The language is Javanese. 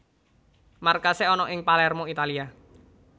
Markasé ana ing Palermo Italia